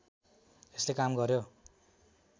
यसले काम गर्‍यो